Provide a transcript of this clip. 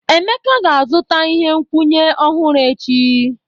Emeka ga-azụta ihe nkwụnye ọhụrụ echi.